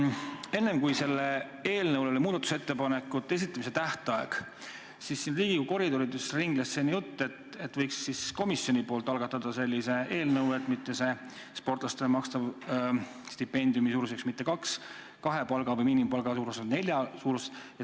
Enne seda, kui selle eelnõu kohta muudatusettepanekute esitamise tähtaeg oli, siis ringles Riigikogu koridorides jutt, et komisjon võiks algatada sellise eelnõu, et sportlastele makstava stipendiumi suurus ei oleks mitte kaks miinimumpalka, vaid neli.